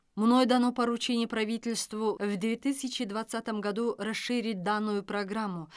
мной дано поручение правительству в две тысячи двадцатом году расширить данную программу